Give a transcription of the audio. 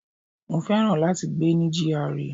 Mo féràn láti gbé ní GRA.